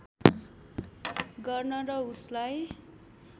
गर्न र उसलाई